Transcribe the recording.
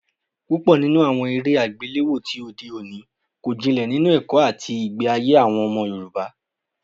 Púpọ̀ nínú àwọn eré àgbéléwò tí òde òní kò jinlẹ̀ nínú ẹ̀kọ́ àti ìgbé ayé àwọn ọmọ Yorùbá